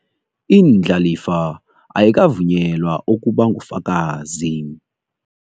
Indlalifa ayikavunyelwa ukubangufakazi.